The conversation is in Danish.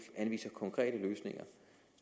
anviser konkrete løsninger